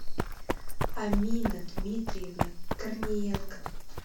амина дмитриевна корниенко